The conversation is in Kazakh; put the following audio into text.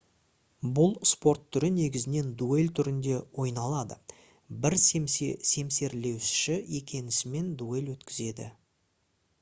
бұл спорт түрі негізінен дуэль түрінде ойналады бір семсерлесуші екіншісімен дуэль өткізеді